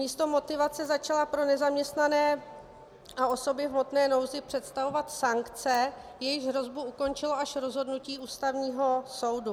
Místo motivace začala pro nezaměstnané a osoby v hmotné nouzi představovat sankce, jejichž hrozbu ukončilo až rozhodnutí Ústavního soudu.